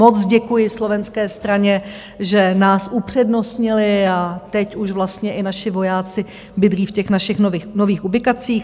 Moc děkuji slovenské straně, že nás upřednostnili, a teď už vlastně i naši vojáci bydlí v těch našich nových ubikacích.